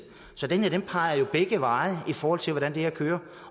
så den her peger jo begge veje i forhold til hvordan det her kører